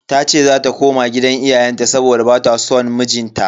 Tace zata koma gidan iyayenta saboda bata son mijinta.